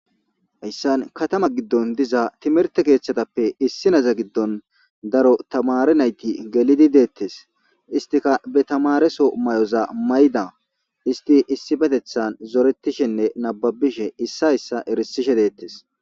Hayssan kattama giddon diza timirtte keeththatappe issineza giddon daro tammare naytti gelidi detees,isttikka batamareso mayoza ma yida,izettikka issoy issuwara zorettishe dee'etees.